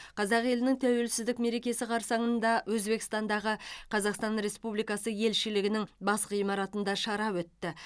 қазақ елінің тәуелсіздік мерекесі қарсаңында өзбекстандағы қазақстан республикасы елшілігінің бас ғимаратында шара өтті